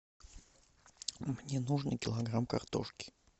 мне нужно килограмм картошки